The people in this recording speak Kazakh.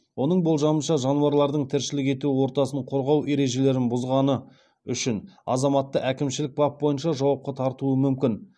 оның болжамынша жануарлардың тіршілік ету ортасын қорғау ережелерін бұзғаны үшін азаматты әкімшілік бап бойынша жауапқа тартуы мүмкін